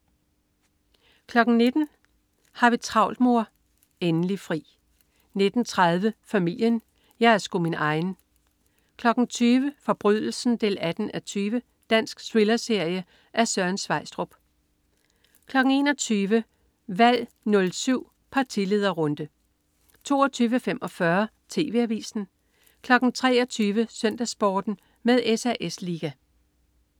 19.00 Har vi travlt, mor? Endelig fri 19.30 Familien. Jeg er sgu min egen 20.00 Forbrydelsen 18:20. Dansk thrillerserie af Søren Sveistrup 21.00 Valg 07 partilederrunde 22.45 TV Avisen 23.00 SøndagsSporten med SAS Liga